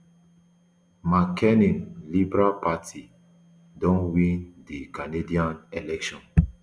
mark carney liberal party don win di canadian election